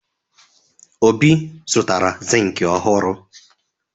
Obi zụtara zinc ọhụrụ.